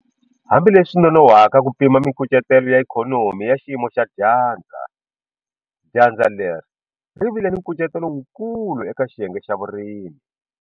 Hambileswi swi nonohwaka ku pima mikucetelo ya ikhonomi ya xiyimo xa dyandza, dyandza leri ri vile ni nkucetelo wukulu eka xiyenge xa vurimi.